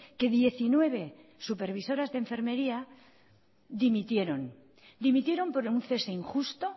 que diecinueve supervisoras de enfermería dimitieron dimitieron por un cese injusto